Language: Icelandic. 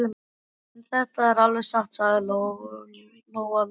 En þetta er alveg satt, sagði Lóa Lóa.